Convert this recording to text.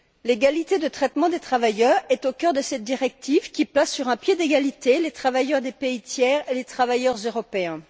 L'égalité de traitement des travailleurs est au cœur de cette directive qui place sur un pied d'égalité les travailleurs des pays tiers et les travailleurs européens.